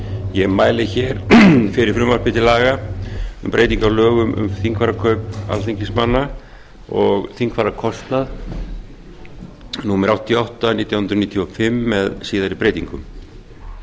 ég mæli fyrir frumvarpi til laga um breytingu á lögum um þingfararkaup alþingismanna og þingfararkostnað númer áttatíu og átta nítján hundruð níutíu og fimm með síðari breytingum